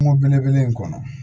Kungo bele bele in kɔnɔ